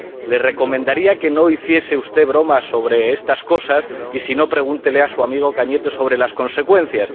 Le recomendaría que no hiciese usted broma sobre estas cosas, y si no, pregúntele a su amigo Cañete sobre las consecuencias.